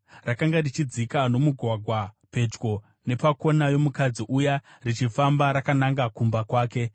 Rakanga richidzika nomugwagwa pedyo nepakona yomukadzi uya, richifamba rakananga kumba kwake,